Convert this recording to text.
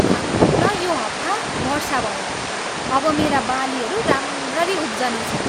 धन्न यो हप्ता वर्षा भयो। अब मेरा बालीहरू राम्ररी उब्जनेछन्।